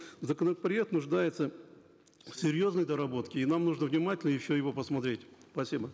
законопроект нуждается в серьезной доработке и нам нужно внимательно еще его посмотреть спасибо